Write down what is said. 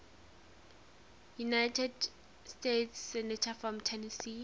united states senators from tennessee